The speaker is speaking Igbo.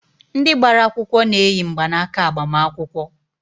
Ndị gbara akwụkwọ na-eyi mgbanaaka agbamakwụkwọ.